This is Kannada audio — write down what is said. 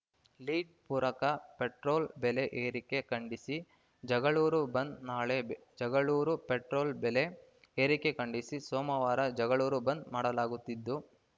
ಲೀಡ್‌ ಪೂರಕ ಪೆಟ್ರೋಲ್‌ ಬೆಲೆ ಏರಿಕೆ ಖಂಡಿಸಿ ಜಗಳೂರು ಬಂದ್‌ ನಾಳೆ ಜಗಳೂರು ಪೆಟ್ರೋಲ್‌ ಬೆಲೆ ಏರಿಕೆ ಖಂಡಿಸಿ ಸೋಮವಾರ ಜಗಳೂರು ಬಂದ್‌ ಮಾಡಲಾಗುತ್ತಿದ್ದು